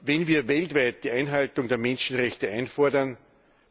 Wenn wir weltweit die Einhaltung der Menschenrechte einfordern,